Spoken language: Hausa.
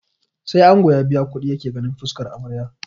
Sai ango ya biya kuɗi yake ganin fuskar amarya